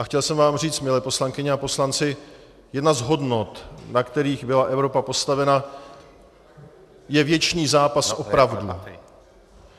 A chtěl jsem vám říct, milé poslankyně a poslanci, jedna z hodnot, na kterých byla Evropa postavena, je věčný zápas o pravdu.